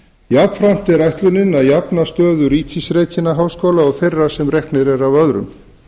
jafnframt er ætlunin að jafna stöðu ríkisrekinna háskóla og þeirra sem reknir eru af öðrum